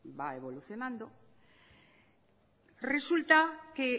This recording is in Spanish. va evolucionando resulta que